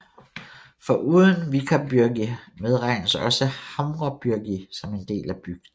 Foruden Víkarbyrgi medregnes også Hamrabyrgi som en del af bygden